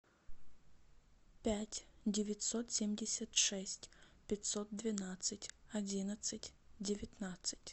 пять девятьсот семьдесят шесть пятьсот двенадцать одиннадцать девятнадцать